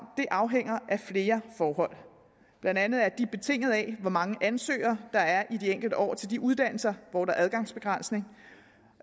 afhænger af flere forhold blandt andet er det betinget af hvor mange ansøgere der er i de enkelte år til de uddannelser hvor der er adgangsbegrænsning